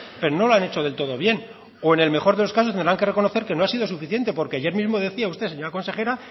pero no lo han hecho del todo bien o en el mejor de los casos tendrán que reconocer que no ha sido suficiente porque ayer mismo decía usted señora consejera